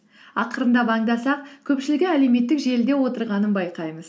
ақырындап аңдасақ көпшілігі әлеуметтік желіде отырғанын байқаймыз